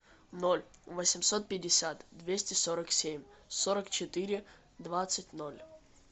ноль восемьсот пятьдесят двести сорок семь сорок четыре двадцать ноль